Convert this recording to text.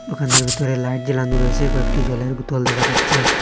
দোকানের ভিতরে লাইট জ্বালানো রয়েসে কয়েকটি জলের বোতল দেখা যাচ্চে ।